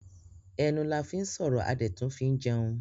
Ẹnu la fín sọ̀rọ̀ a dẹ̀ tún fín jẹun.